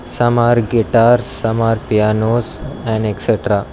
Some are guitars some are pianos and etc.